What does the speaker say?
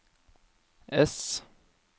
ess